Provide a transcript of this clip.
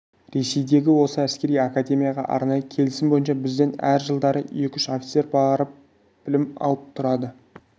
ресейдегі осы әскери академияға арнайы келісім бойынша бізден әр жылдары екі-үш офицер барып білім алып тұрады